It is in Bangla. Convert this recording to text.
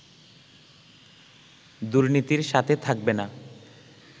দুর্নীতির সাথে থাকবে না